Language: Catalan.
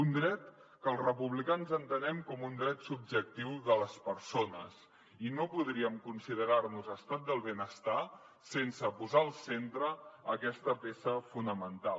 un dret que els republicans entenem com un dret subjectiu de les persones i no podríem considerar nos estat del benestar sense posar al centre aquesta peça fonamental